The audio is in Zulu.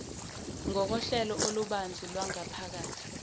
ngokohlelo olubanzi lwangaphakathi